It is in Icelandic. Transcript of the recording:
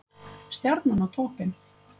Stjarnan á toppinn